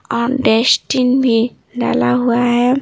और डस्टबिन भी डाला हुआ है।